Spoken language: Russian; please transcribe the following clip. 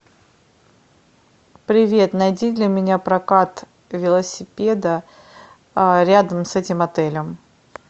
привет найди для меня прокат велосипеда рядом с этим отелем